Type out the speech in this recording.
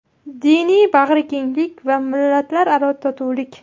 Diniy bag‘rikenglik va millatlararo totuvlik.